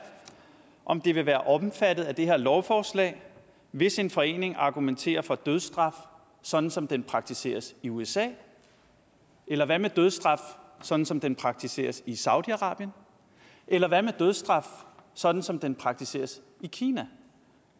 om det vil være omfattet af det her lovforslag hvis en forening argumenterer for dødsstraf sådan som den praktiseres i usa eller hvad med dødsstraf sådan som den praktiseres i saudi arabien eller hvad med dødsstraf sådan som den praktiseres i kina